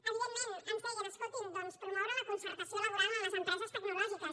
evidentment ens deien escoltin promoure la concertació laboral en les empreses tecnològiques